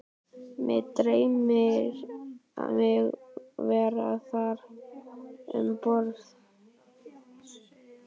Mig dreymir mig vera þar um borð